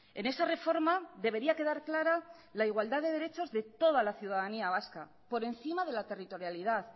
en esa reforma debería quedar clara la igualdad de derechos de toda la ciudadanía vasca por encima de la territorialidad